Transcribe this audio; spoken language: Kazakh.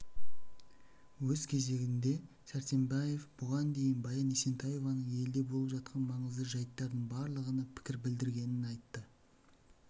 өз кезегінде сәрсенбаева бұған дейін баян есентаеваның елде болып жатқан маңызды жайттардың барлығына пікір білдіргенін айтты